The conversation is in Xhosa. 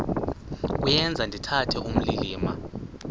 kuyenza ndithetha ukulilima